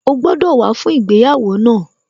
O gbọ́dọ̀ wá fún ìgbéyàwó náà